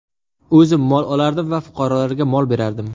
O‘zim mol olardim va fuqarolarga mol berardim.